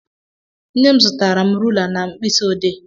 Nnem zụtara m rula na mkpịsị odee.